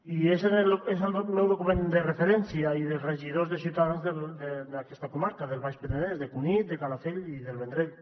i és el meu document de referència i dels regidors de ciutadans d’aquesta comarca del baix penedès de cunit de calafell i del vendrell